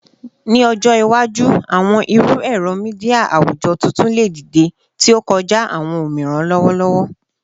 Ni ọjọ iwaju, awọn iru ẹrọ media awujọ tuntun le dide, ti o kọja awọn omiran lọwọlọwọ